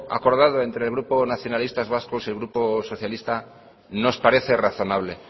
acordado entre el grupo nacionalistas vascos y el grupo socialista nos parece razonable